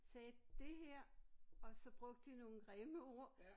Sagde det her og så brugte de nogle grimme ord